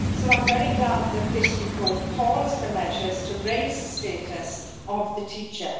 So I am very glad that this report calls for measures to raise the status of the teacher.